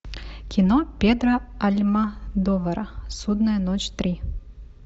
кино педро альмодовара судная ночь три